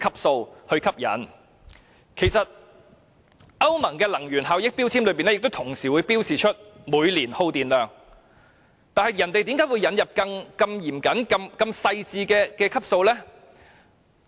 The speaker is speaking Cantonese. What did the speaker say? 事實上，歐盟的能源標籤也會同時標示每年的耗電量，那麼為何我們要引入如此嚴謹、細緻的分級制？